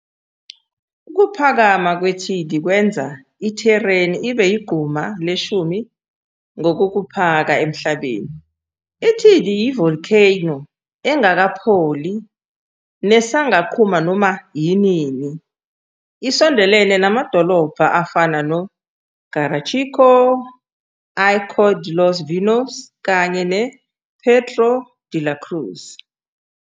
Ukuphakama kweThidi kwenza iTheneri ibe yigquma leshumi ngokokuphaka emhlabeni. i-Thidi iyi volcano engakapholi nesangaqhuma noma yinini. Isondelene namadokobha afana no Garachico, Icod de los Vinos kanye ne Puerto de la Cruz.